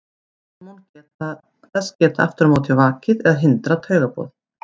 Hormón þess geta aftur á móti vakið eða hindrað taugaboð.